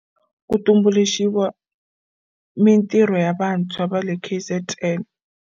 Ku tumbuluxiwa mintirho ya vantshwa va le KZN.